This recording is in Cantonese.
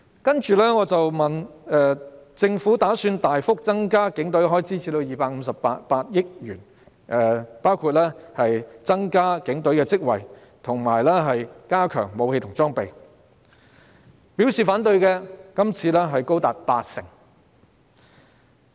接着我詢問，政府打算大幅增加警隊開支至258億元，包括增加警隊職位，以及加強武器和裝備，他們對此有何意見。